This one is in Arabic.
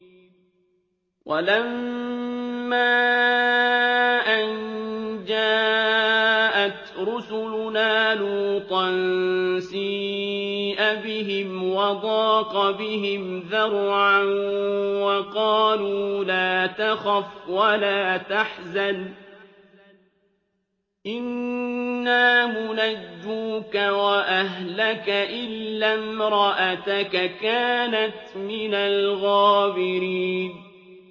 وَلَمَّا أَن جَاءَتْ رُسُلُنَا لُوطًا سِيءَ بِهِمْ وَضَاقَ بِهِمْ ذَرْعًا وَقَالُوا لَا تَخَفْ وَلَا تَحْزَنْ ۖ إِنَّا مُنَجُّوكَ وَأَهْلَكَ إِلَّا امْرَأَتَكَ كَانَتْ مِنَ الْغَابِرِينَ